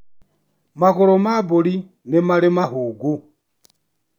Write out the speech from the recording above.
Magũrũ ma mbũri nĩ marĩ mahũngũ.